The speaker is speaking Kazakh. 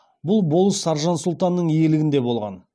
бұл болыс саржан сұлтанның иелігінде болған